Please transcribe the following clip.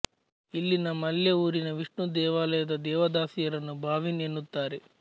ಇಲ್ಲಿನ ಮಲ್ಯ ಊರಿನ ವಿಷ್ಣು ದೇವಾಲಯದ ದೇವದಾಸಿಯರನ್ನು ಭಾವಿನ್ ಎನ್ನುತ್ತಾರೆ